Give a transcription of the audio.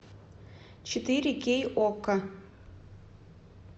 четыре кей окко